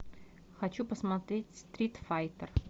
хочу посмотреть стрит файтер